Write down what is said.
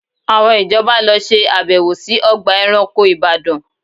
Àwọn ìjọba lọ ṣe àbẹ̀wò sí ọgbà ẹranko Ìbàdàn